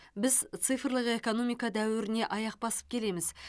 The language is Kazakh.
біз цифрлық экономика дәуіріне аяқ басып келеміз